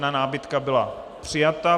Námitka byla přijata.